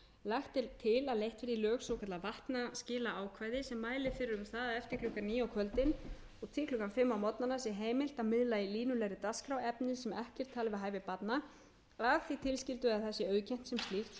verði í lög svokallað vatnaskilaákvæði sem mælir fyrir um það að eftir klukkan níu á kvöldin og til klukkan fimm á morgnana sé heimilt að miðla í línulegri dagskrá efni sem ekki er talið við hæfi barna að því tilskildu að það sé auðkennt sem slíkt svo sem